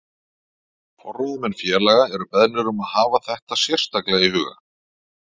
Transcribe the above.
Forráðamenn félaga eru beðnir um að hafa þetta sérstaklega í huga.